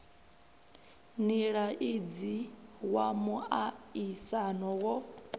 nila idzi wa muaisano wo